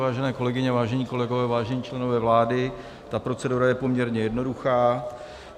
Vážené kolegyně, vážení kolegové, vážení členové vlády, ta procedura je poměrně jednoduchá.